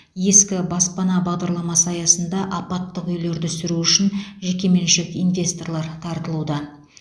ескі баспана бағдарламасы аясында апаттық үйлерді сүру үшін жекеменшік инвесторлар тартылуда